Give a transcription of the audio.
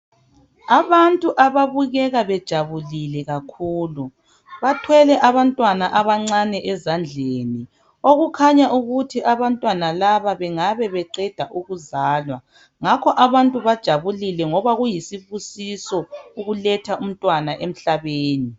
Abantu ababukela bejabulile kakhulu bathwele abantwana abancane ezandleni okukhanya ukuthi abantwana laba bengabe beqeda ukuzalwa ngakho abantu bajabulile ngoba kuyisibusiso ukuletha umntwana emhlabeni.